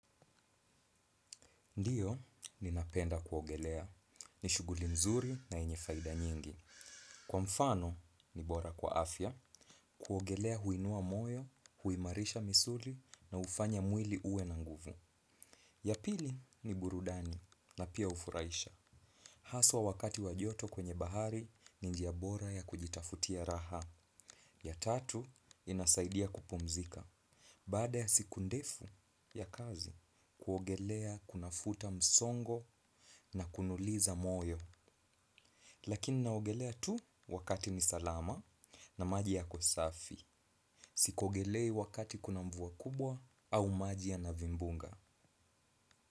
Ndiyo ninapenda kuogelea. Ni shughuli nzuri na yenye faida nyingi. Kwa mfano ni bora kwa afya. Kuogelea huinua moyo, huimarisha misuli na hufanya mwili uwe na nguvu. Ya pili ni burudani na pia hufuraisha. Haswa wakati wa joto kwenye bahari ni njia bora ya kujitafutia raha. Ya tatu inasaidia kupumzika. Baada ya siku ndefu ya kazi kuogelea kunafuta msongo na kunuliza moyo. Lakini naogelea tu wakati ni salama na maji yako safi. Siogelei wakati kuna mvua kubwa au maji yana vimbunga.